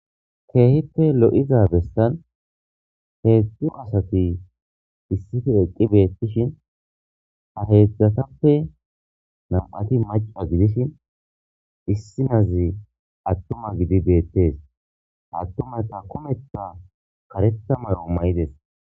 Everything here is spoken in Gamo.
keehippe lo'iza bestan heedzdzu asati issife eqqi beettishin haheedzdzatappe nam'ati maca gidishin issinazi attuma gidi beettees attumata kometta kareta maro mayides